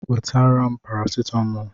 Wetara m paracetamol!